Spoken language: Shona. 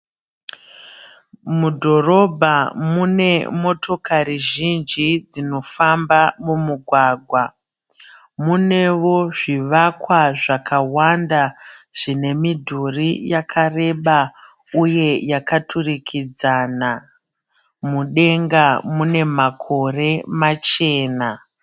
Mudhorobha mune motokari zhinji dzinofamba mumugwagwa. Munewo zvivakwa zvakawanda zvine midhuri akareba uye yakaturikidzana. Mudenga mune makore machena.